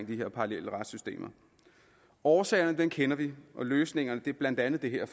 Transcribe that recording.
de her parallelle retssystemer årsagerne kender vi og løsningerne er blandt andet det her